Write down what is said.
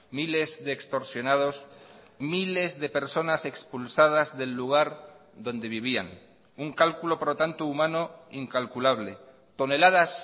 miles de extorsionados miles de personas expulsadas del lugar donde vivían un cálculo por lo tanto humano incalculable toneladas